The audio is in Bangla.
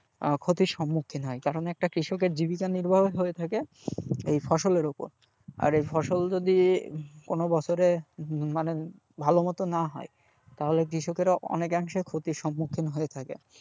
আহ ক্ষতির সম্মুখীন হয় কারণ একটা কৃষকের জীবিকা নির্বাহই হয়ে থাকে এই ফসলের ওপর, আর এই ফসল যদি কোন বছরে মানে ভালো মতো না হয় তাহলে কৃষকেরা অনেকাংশে ক্ষতির সম্মুখীন হয়ে থাকে।